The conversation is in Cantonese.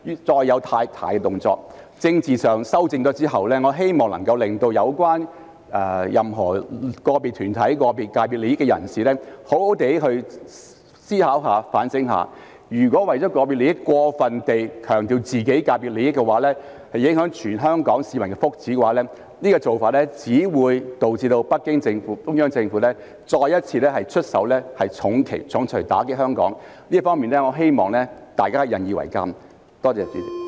在政治上作出修正後，我希望能夠令有關的個別團體及代表個別界別利益的人士好好思考和反省，如果為了個別利益，過分強調自己界別的利益而影響全港市民福祉，這做法只會導致北京中央政府再一次出手重錘打擊香港，我希望大家引以為鑒。